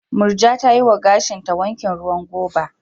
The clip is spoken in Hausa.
Murja ta yi wa gashinta wankin ruwan goba.